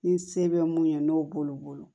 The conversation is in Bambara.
Ni se bɛ mun ye n'o b'olu bolo